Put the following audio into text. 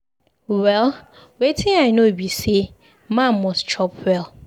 Well, wetin I know be say man must chop well.